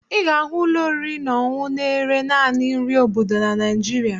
Ị ga-ahụ ụlọ oriri na ọṅụṅụ na-ere naanị nri obodo na Naịjirịa